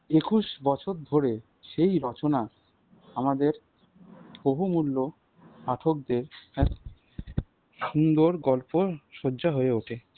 একুশ বছর ধরে সেই রচনা আমাদের বহুমূল্য পাঠকদের এ সুন্দর গল্প শয্যা হয়ে ওঠে।